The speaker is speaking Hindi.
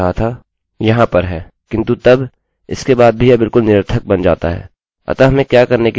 अतः हमें क्या करने की ज़रुरत है कि इसके बदले हम अपने सिंगलsingle कोटेशनquotation मार्क्सmarksका प्रयोग करें